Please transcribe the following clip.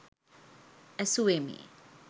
ඇසුවෙමි.